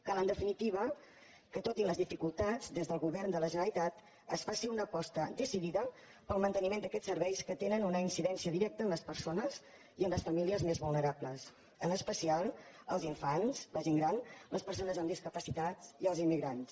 cal en definitiva que tot i les dificultats des del go·vern de la generalitat es faci una aposta decidida pel manteniment d’aquests serveis que tenen una incidèn·cia directa en les persones i en les famílies més vulne·rables en especial els infants la gent gran les perso·nes amb discapacitats i els immigrants